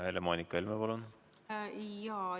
Helle-Moonika Helme, palun!